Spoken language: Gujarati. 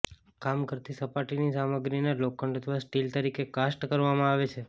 કામ કરતી સપાટીની સામગ્રીને લોખંડ અથવા સ્ટીલ તરીકે કાસ્ટ કરવામાં આવે છે